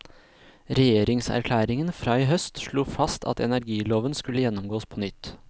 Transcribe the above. Regjeringserklæringen fra i høst slo fast at energiloven skulle gjennomgås på nytt.